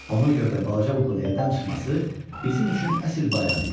Ona görə də balaca Mukun evdən çıxması bizim üçün əsl bayram idi.